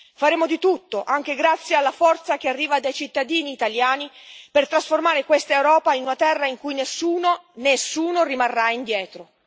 Faremo di tutto, anche grazie alla forza che arriva dai cittadini italiani, per trasformare questa Europa in una terra in cui nessuno nessuno rimarrà indietro.